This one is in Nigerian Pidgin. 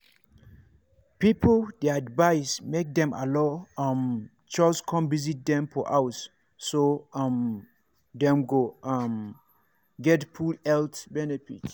people dey advised make dem allow um chws come visit dem for house so um dem go um get full health benefit.